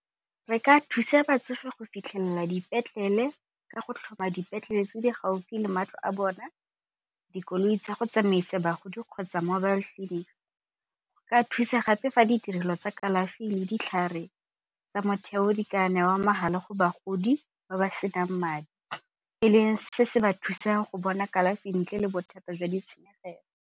Re ka thusa batsofe go fitlhelela dipetlele ka go tlhoma dipetlele tse di gaufi le matlo a bona, dikoloi tsa go tsamaisa bagodi kgotsa mobile clinic. Go ka thusa gape fa ditirelo tsa kalafi le ditlhare tsa motheo di ka newa mahala go bagodi ba ba se nang madi e leng se se ba thusang go bona kalafi ntle le bothata jwa ditshenyegelo.